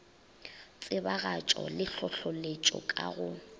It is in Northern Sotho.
tsebagatšo le hlohleletšo ka go